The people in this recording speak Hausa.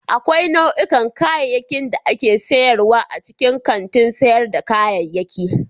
Akwai nau'ikan kayayyaki da ake sayarwa a cikin kantin sayar da kayayyaki.